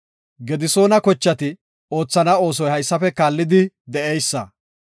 Gedisoona kochati oothana oosoy haysafe kaallidi de7eysa;